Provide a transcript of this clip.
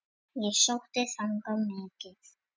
Og ég sótti þangað mikið.